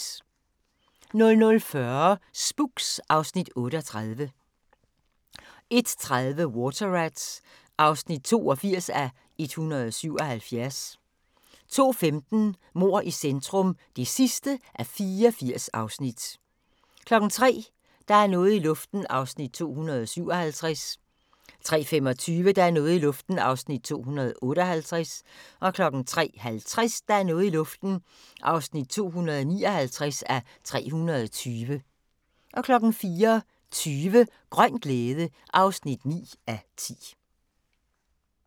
00:40: Spooks (Afs. 38) 01:30: Water Rats (82:177) 02:15: Mord i centrum (84:84) 03:00: Der er noget i luften (257:320) 03:25: Der er noget i luften (258:320) 03:50: Der er noget i luften (259:320) 04:20: Grøn glæde (9:10)